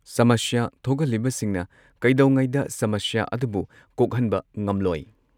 ꯁꯃꯁ꯭ꯌꯥ ꯊꯣꯛꯍꯜꯂꯤꯕꯁꯤꯡꯅ ꯀꯩꯗꯧꯉꯩꯗ ꯁꯃꯁ꯭ꯌꯥ ꯑꯗꯨꯕꯨ ꯀꯣꯛꯍꯟꯕ ꯉꯝꯂꯣꯏ ꯫